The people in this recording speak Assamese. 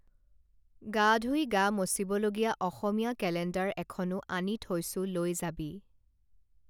গা ধুই গা মচিব লগীয়া অসমীয়া কেলেণ্ডাৰ এখনো আনি থৈছোঁ লৈ যাবি